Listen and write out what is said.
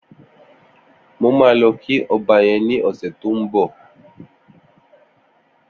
Mó mà lọ kí ọ̀bà yèn ni ọsẹ tó n bọ